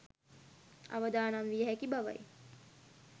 අවදානම් විය හැකි බවයි